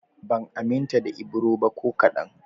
Ban aminta da Ibro ba ko kaɗan